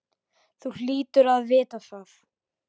Þú hlýtur að vita það.